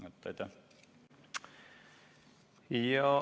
Aitäh!